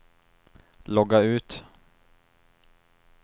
logga ut